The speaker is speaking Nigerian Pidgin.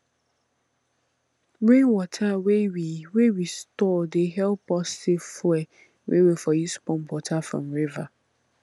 rainwater wey we wey we store dey help us save fuel wey we for use pump water from river